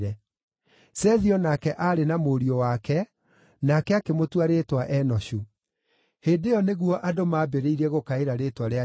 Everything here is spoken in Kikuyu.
Sethi o nake aarĩ na mũriũ wake, nake akĩmũtua rĩĩtwa Enoshu. Hĩndĩ ĩyo nĩrĩo andũ mambĩrĩirie gũkaĩra rĩĩtwa rĩa Jehova.